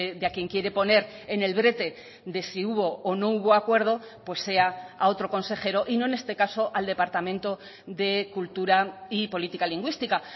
de a quién quiere poner en el brete de si hubo o no hubo acuerdo pues sea a otro consejero y no en este caso al departamento de cultura y política lingüística